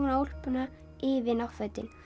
og úlpuna yfir náttfötin